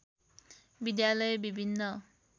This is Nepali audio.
विद्यालय विभिन्न